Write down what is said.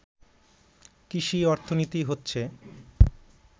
কৃষি অর্থনীতি হচ্ছে